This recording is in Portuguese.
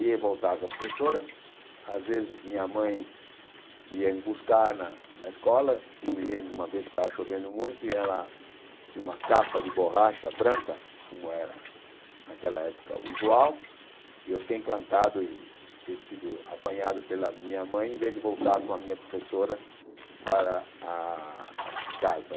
Ia e voltava com a professora, às vezes minha mãe ia me buscar na na escola, eu me lembro uma vez que estava chovendo muito e ela tinha uma capa de borracha branca, como era naquela época usual, e eu fiquei encantado em ter sido apanhado pela minha mãe, em vez de voltar com a minha professora para a a casa.